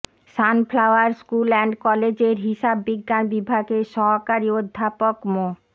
sunflower school and কলেজের হিসাব বিজ্ঞান বিভাগের সহকারি অধ্যাপক মো